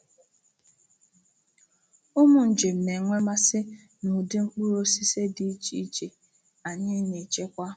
Ụmụ njem na-enwe mmasị na ụdị mkpụrụ osisi dị iche iche anyị na-echekwa.